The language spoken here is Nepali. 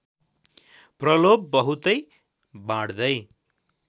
प्रलोभ बहुतै बाँड्दै